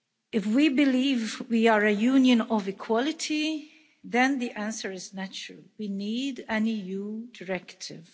If we believe we are a Union of equality, then the answer is natural we need an EU directive.